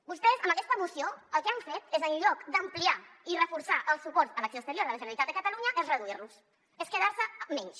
vostès amb aquesta moció el que han fet en lloc d’ampliar i reforçar el suport a l’acció exterior de la generalitat de catalunya és reduir lo és quedar se amb menys